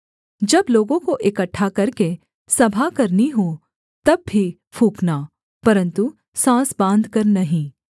जब लोगों को इकट्ठा करके सभा करनी हो तब भी फूँकना परन्तु साँस बाँधकर नहीं